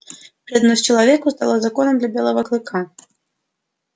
преданность человеку стала законом для белого клыка